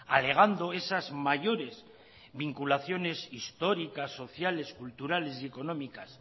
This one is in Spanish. alegando esas mayores vinculaciones históricas sociales culturales y económicas